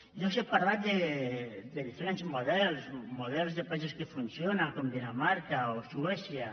jo els he parlat de diferents models models de països que funcionen com dinamarca o suècia